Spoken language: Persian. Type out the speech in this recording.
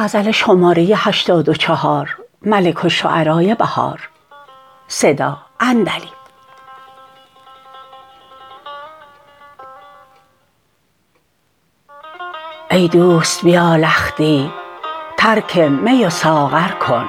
ای دوست بیا لختی ترک می و ساغر کن